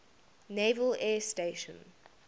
naval air station